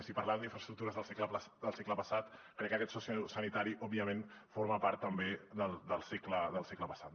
si parlàvem d’infraestructures del segle passat crec que aquest sociosanitari òbviament forma part també del segle passat